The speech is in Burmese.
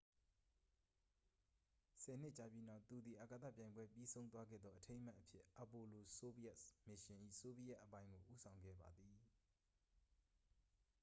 ဆယ်နှစ်ကြာပြီးနောက် သူသည် အာကာသပြိုင်ပွဲပြီးဆုံးသွားခဲ့သောအထိမ်းအမှတ်အဖြစ် apollo-soyuz မစ်ရှင်၏ ဆိုဗီယက်အပိုင်းကို ဦးဆောင်ခဲ့ပါသည်